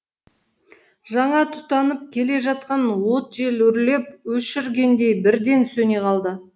жаңа тұтанып келе жатқан от жел үрлеп өшіргендей бірден сөне қалды